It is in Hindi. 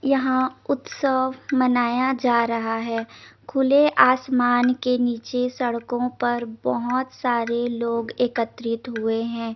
यहां उत्सव मनाया जा रहा है खुले आसमान के निच्चे सड़को पर बोहोत सारे लोग एकत्रित हुए है।